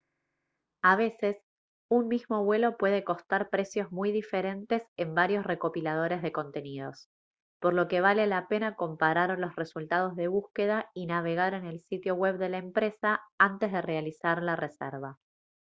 a veces un mismo vuelo puede costar precios muy diferentes en varios recopiladores de contenidos por lo que vale la pena comparar los resultados de búsqueda y navegar en el sitio web de la empresa antes de realizar la reserva